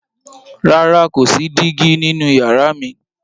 Rara, ko si digi ninu yara mi.